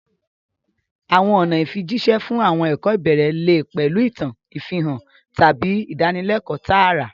Àwọn ọ̀nà ìfijíṣẹ́ fún àwọn ẹ̀kọ́ ìbẹ̀rẹ̀ lè pẹ̀lú ìtàn, ìfihàn, tàbí ìdánilẹ́kọ̀ọ́ tààrà.